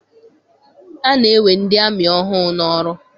Ana-ewe ndị amị ọhụụ n'ọrụ.